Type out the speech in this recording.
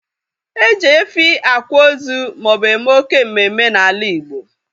E ji efi akwa ozu maobu eme oké mmemme n'ala igbo